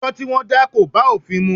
Ẹjọ́ tí wọ́n dá kò bá òfin mu.